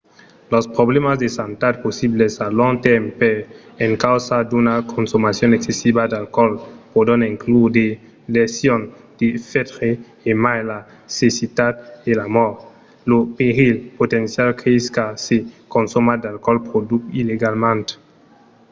los problèmas de santat possibles a long tèrme per encausa d'una consomacion excessiva d'alcoòl pòdon inclure de lesions del fetge e mai la cecitat e la mòrt. lo perilh potencial creis quand se consoma d'alcoòl produch illegalament